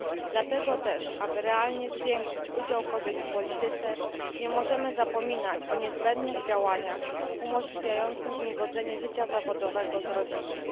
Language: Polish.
Dlatego też, aby realnie zwiększyć udział kobiet w polityce, nie możemy zapominać o niezbędnych działaniach umożliwiających im godzenie życia zawodowego z rodzinnym.